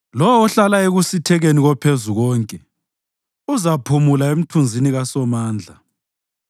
Lowo ohlala ekusithekeni koPhezukonke uzaphumula emthunzini kaSomandla.